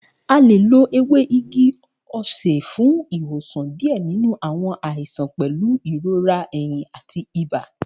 A le lo ewe igi ose fun iwosan diẹ ninu awọn aisan pẹlu irora ehin ati iba.